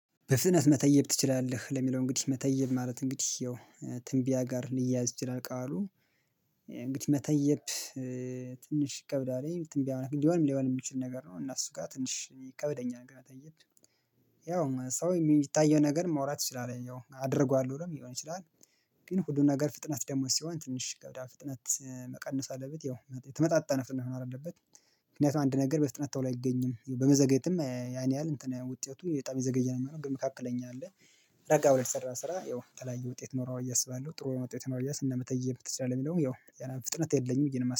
በፍጥነት መተየብ ትችላለህ? ለሚለው እንግዲህ መተየብ ማለት እንግዲህ ይኸው ትንቢያ ጋር ሊያያዝ ቃሉ እንግዲህ መተየብ ትንሽ ይከብዳል ትምቢያ ነገር ሊሆንም ላይሆንም የሚችል ነገር ነው እና እሱ ጋር ትንሽ ይከብደኛል፤ ያው ሰው የሚታየው ነገር መውራት ይችላል ያው አደርገዋለሁ ብሎም ሊሆን ይችላል ግን ሁሉን ነገር ፍጥነት ደግሞ ሲሆን ትንሽ ገዳ ፍጥነት መቀነስ አለበት ያው የተመጣጣ ነው ፍጥነት መሆን አለበት ምክንያቱም አንድ ነገር በፍጥነት ቶሎ አይገኝም በመዘገየትም ያን ያህል እንትን ውጤቱ በጣም የዘገየ ነው የሚሆነው ግን መካከለኛ አለ ረጋ ብለህ የሚሰራ ስራ ያው የተለያየ ውጤት ይኖሮዋል ቢየአስባለሁ ጥሩ ውጤት ኖሮ አያስባለሁ እናመተብ ትችላለት የሚለውም ያው ፍጥነት የለኝም ቢየ ነው እማስበው